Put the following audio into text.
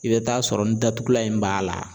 I bɛ taa sɔrɔ ni datugulan in b'a la